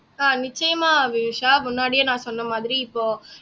அஹ் நிச்சயமா வினுஷா முன்னாடியே நான் சொன்ன மாதிரி இப்போ